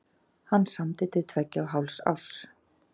Hann samdi til tveggja og hálfs árs.